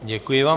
Děkuji vám.